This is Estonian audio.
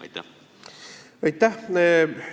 Aitäh!